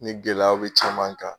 Ni gɛlɛyaw be caman ka